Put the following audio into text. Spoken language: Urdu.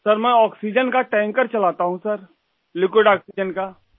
سر ، میں آکسیجن ٹینکر چلاتا ہوں ، رقیق آکسیجن